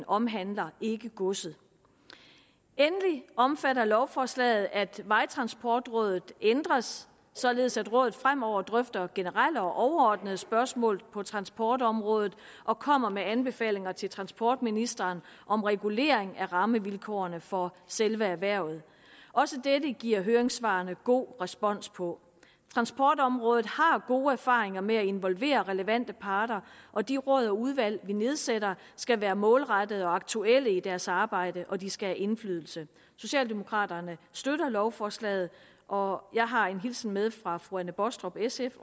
omhandler godset endelig omfatter lovforslaget at vejtransportrådet ændres således at rådet fremover drøfter generelle og overordnede spørgsmål på transportområdet og kommer med anbefalinger til transportministeren om regulering af rammevilkårene for selve erhvervet også dette giver høringssvarene god respons på transportområdet har gode erfaringer med at involvere relevante parter og de råd og udvalg vi nedsætter skal være målrettede og aktuelle i deres arbejde og de skal have indflydelse socialdemokraterne støtter lovforslaget og jeg har en hilsen med fra fru anne baastrup sf